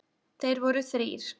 Þeir voru þrír.